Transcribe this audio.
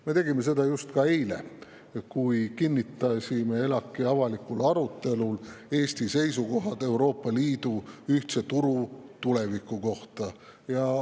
Me tegime seda ka just eile, kui kinnitasime ELAK‑i avalikul arutelul Eesti seisukohad Euroopa Liidu ühtse turu tuleviku kohta.